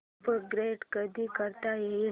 upgrade कधी करता येईल